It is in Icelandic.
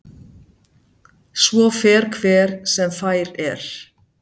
Svo fer hver sem fær er.